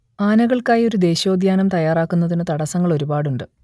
ആനകൾക്കായി ഒരു ദേശീയോദ്യാനം തയ്യാറാക്കുന്നതിന് തടസ്സങ്ങൾ ഒരുപാടുണ്ട്